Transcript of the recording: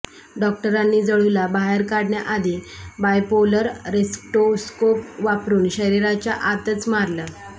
डॉक्टरांनी जळूला बाहेर काढण्याआधी बायपोलर रेस्क्टोस्कोप वापरून शरीराच्या आतच मारलं